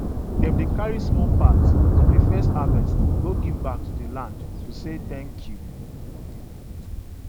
dem dey carry small part from the first harvest go give back to the land to say thank you